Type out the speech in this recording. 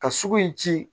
Ka sugu in ci